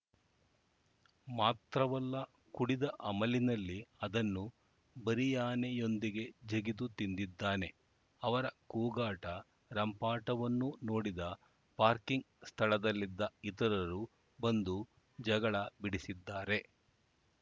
ಮಾತ್ರವಲ್ಲ ಕುಡಿದ ಅಮಲಿನಲ್ಲಿ ಅದನ್ನು ಬರಿಯಾನಿಯೊಂದಿಗೆ ಜಗಿದು ತಿಂದಿದ್ದಾನೆ ಅವರ ಕೂಗಾಟ ರಂಪಾಟವನ್ನು ನೋಡಿದ ಪಾರ್ಕಿಂಗ್‌ ಸ್ಥಳದಲ್ಲಿದ್ದ ಇತರರು ಬಂದು ಜಗಳ ಬಿಡಿಸಿದ್ದಾರೆ